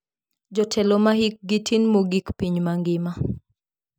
Jotelo ma hikgi tin mogik piny mangima.